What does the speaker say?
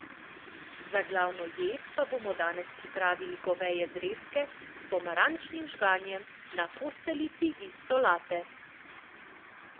Za glavno jed pa bomo danes pripravili goveje zrezke s pomarančnim žganjem na posteljici iz solate!